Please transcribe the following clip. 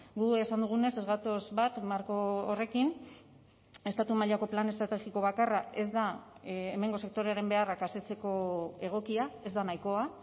gu esan dugunez ez gatoz bat marko horrekin estatu mailako plan estrategiko bakarra ez da hemengo sektorearen beharrak asetzeko egokia ez da nahikoa